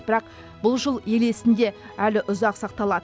бірақ бұл жыл ел есінде әлі ұзақ сақталады